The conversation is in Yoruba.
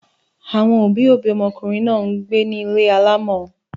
Àwọn òbí-òbí ọmọkùnrin náà ń gbé ní ilé alámọ̀.